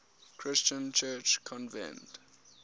christian church convened